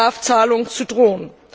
Strafzahlungen, zu drohen.